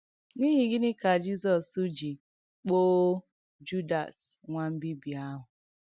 N’ìhí gị̣nị́ kà Jízọ̀s̀ jì kpòò Júdàs̀ “nwà m̀bìbì àhụ̀”?